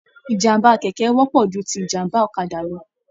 Ìjàmbá kẹkẹ wọpọ jù tí ìjàmbá ọ̀kàdà lọ.